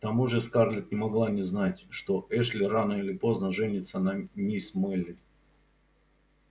к тому же скарлетт не могла не знать что эшли рано или поздно женится на мисс мелли